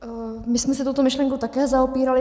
My jsme se touto myšlenkou také zaobírali.